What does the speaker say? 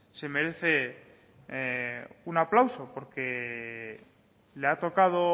se merece un aplauso porque le ha tocado